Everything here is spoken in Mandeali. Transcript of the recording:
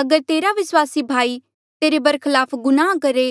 अगर तेरा विस्वासी भाई तेरे बरखलाफ गुनाह करहे